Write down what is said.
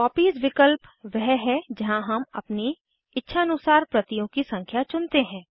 copies विकल्प वह है जहाँ हम अपनी इच्छानुसार प्रतियों की संख्या चुनते हैं